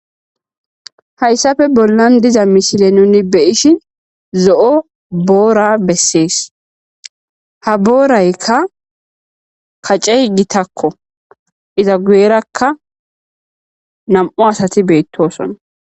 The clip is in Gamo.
hayssafe bollan diza mishile nuni beyishi zo7o boora bessees ha booraykka kacce hgitakko iza guyerakka nam7u asati beettosona